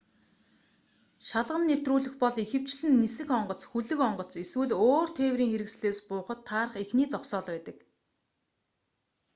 шалган нэвтрүүлэх бол ихэвчлэн нисэх онгоц хөлөг онгоц эсвэл өөр тээврийн хэрэгслээс буухад таарах эхний зогсоол байдаг